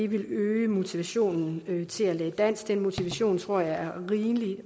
vil øge motivationen til at lære dansk den motivation tror jeg er